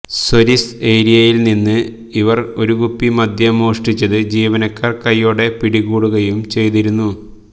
service ഏരിയയില്നിന്ന് ഇവര് ഒരുകുപ്പി മദ്യം മോഷ്ടിച്ചത് ജീവനക്കാര് കൈയോടെ പിടികൂടുകയും ചെയ്തിരുന്നു